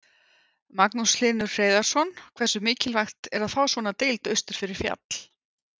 Magnús Hlynur Hreiðarsson: Hversu mikilvægt er að fá svona deild austur fyrir fjall?